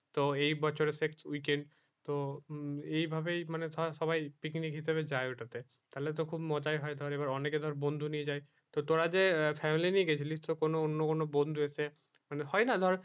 তো এই বছরে শেষ weekend তো এই ভাবে মানে ধর সবাই picnic হিসাবে যায় ওটা তে তালে তো খুব মজাই হয় ধর অনেকে ধর বন্ধু নিয়ে যায় তো তোরা যে family নিয়ে গিয়েছিলিস তো তোর অন্য কোনো বন্ধু রয়েছে মানে হয়ে না ধর